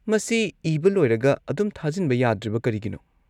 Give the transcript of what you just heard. ꯃꯁꯤ ꯏꯕ ꯂꯣꯏꯔꯒ ꯑꯗꯨꯝ ꯊꯥꯖꯤꯟꯕ ꯌꯥꯗ꯭ꯔꯤꯕ ꯀꯔꯤꯒꯤꯅꯣ?